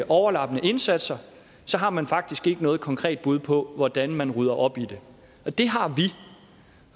overlappende indsatser har man faktisk ikke noget konkret bud på hvordan man rydder op i det det har vi